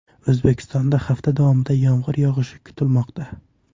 O‘zbekistonda hafta davomida yomg‘ir yog‘ishi kutilmoqda.